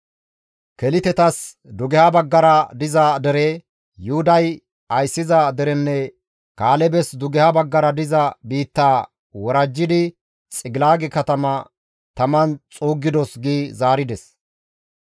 Kelitetas dugeha baggara diza dere, Yuhuday ayssiza derenne Kaalebes dugeha baggara diza biittaa worajjidi Xigilaage katamaa taman xuuggidos» gi zaarides.